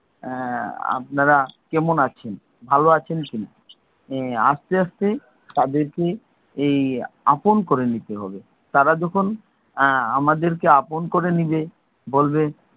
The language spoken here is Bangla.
আপনারা কেমন আছেন, ভালো আছেন কিনা? এর এই আস্তে আস্তে তাদেরকে এই আপন করে নিতে হবে। তারা যখন আমাদেরকে আপন করে নেবে বলবে,